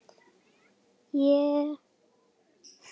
Ég gef ekkert, tek allt.